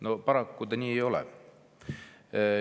No paraku see nii ei ole.